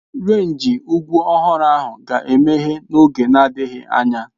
Renji ugwu ọhụrụ ahụ ga-emeghe n'oge na-adịghị anya.